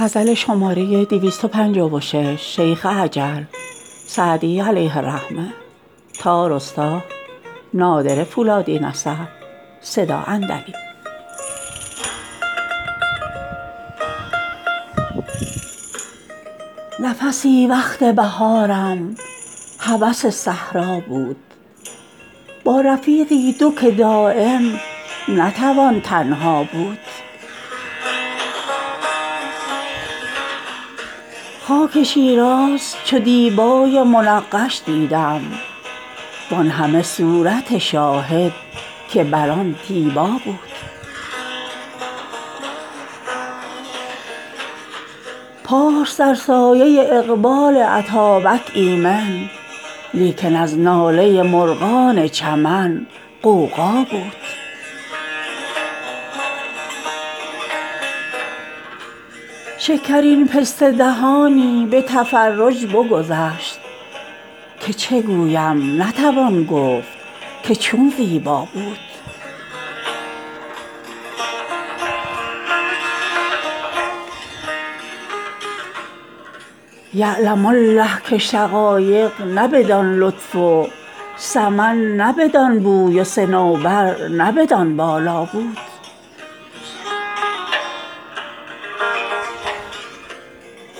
نفسی وقت بهارم هوس صحرا بود با رفیقی دو که دایم نتوان تنها بود خاک شیراز چو دیبای منقش دیدم وان همه صورت شاهد که بر آن دیبا بود پارس در سایه اقبال اتابک ایمن لیکن از ناله مرغان چمن غوغا بود شکرین پسته دهانی به تفرج بگذشت که چه گویم نتوان گفت که چون زیبا بود یعلم الله که شقایق نه بدان لطف و سمن نه بدان بوی و صنوبر نه بدان بالا بود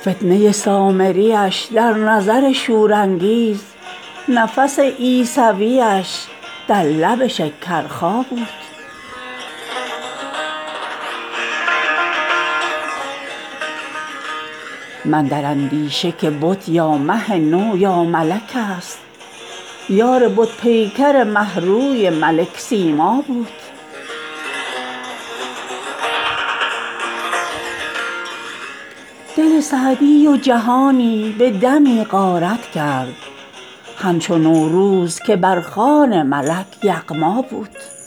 فتنه سامریش در نظر شورانگیز نفس عیسویش در لب شکرخا بود من در اندیشه که بت یا مه نو یا ملک ست یار بت پیکر مه روی ملک سیما بود دل سعدی و جهانی به دمی غارت کرد همچو نوروز که بر خوان ملک یغما بود